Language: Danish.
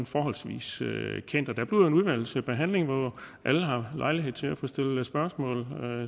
forholdsvis kendt og der bliver en udvalgsbehandling hvor alle har lejlighed til at få stillet spørgsmål